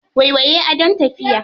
Waiwaye adon tafiya.